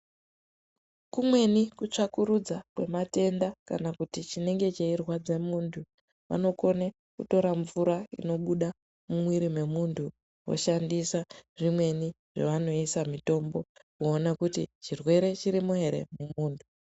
Kumweni kutsvakurudza kwematenda kana kuti chinenge cheirwadze muntu, vanokone kutora mvura inobuda mumwiri memuntu voshandisa zvimweni zvavanoisa mutombo voona kuti chirwere chirimo ere mumuntu.